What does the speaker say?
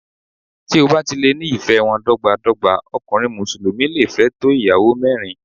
Tí o bá ti lè ní ìfẹ́ wọn dọ́gba dọ́gba, ọkùnrin Mùsùlùmí le fẹ́ tó Ìyàwó mẹ́rin.